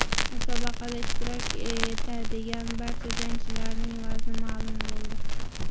Musobaqada ishtirok etadigan barcha jangchilarning vazni ma’lum bo‘ldi.